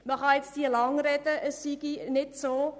Man kann jetzt lange sagen, dem sei nicht so.